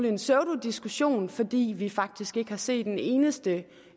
en pseudodiskussion fordi vi faktisk ikke har set en eneste